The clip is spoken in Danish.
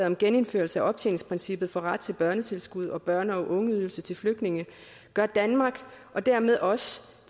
om genindførelse af optjeningsprincippet for ret til børnetilskud og børne og ungeydelse til flygtninge gør danmark og dermed os